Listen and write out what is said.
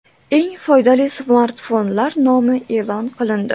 Eng foydali smartfonlar nomi e’lon qilindi.